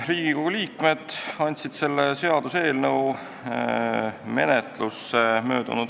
Riigikogu liikmed andsid selle seaduseelnõu menetlusse m.